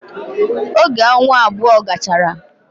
Oge onwa abou gachara